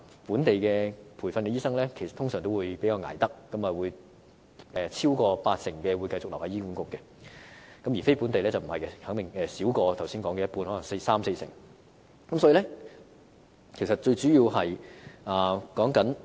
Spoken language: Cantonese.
本地培訓的醫生通常都比較不怕捱苦，超過八成會繼續留在醫管局，而非本地培訓的醫生則少於剛才所說的一半，只有大約三至四成。